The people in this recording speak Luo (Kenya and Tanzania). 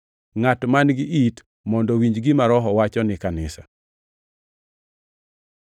Ngʼat man-gi it mondo owinj gima Roho wacho ni kanisa.